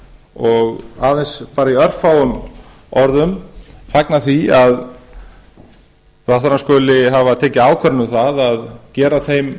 og aðeins bara í örfáum orðum fagna því að ráðherrann skuli hafa tekið ákvörðun um að gera þeim